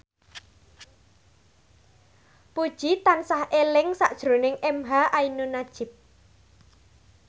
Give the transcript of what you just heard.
Puji tansah eling sakjroning emha ainun nadjib